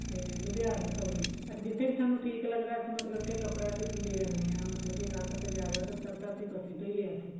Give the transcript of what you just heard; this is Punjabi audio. ਤੇ ਲੁਧਿਆਣੇ ਤੋਂ ਵੀ ਅਸੀਂ ਜਿੱਥੇ ਵੀ ਸਾਨੂੰ ਠੀਕ ਲੱਗਦਾ ਅਸੀਂ ਮਤਲਬ ਕਿ ਕੱਪੜਾ ਲੈ ਆਨੇ ਆ ਮਤਲਬ ਕਿ ਗਾਹਕ ਅਗਰ ਜਿਆਦਾ ਫ਼ੇਰ ਤਾਂ ਅਸੀਂ ਬਸੀ ਤੋਂ ਹੀ ਲਿਆ ਸੀ